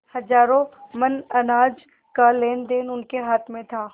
हजारों मन अनाज का लेनदेन उनके हाथ में था